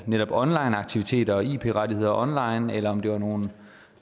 netop onlineaktiviteter og ip rettigheder online eller om det var nogle